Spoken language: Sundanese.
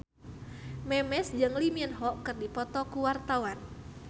Memes jeung Lee Min Ho keur dipoto ku wartawan